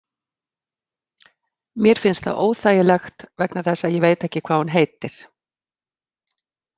Mér finnst það óþægilegt vegna þess að ég veit ekki hvað hún heitir.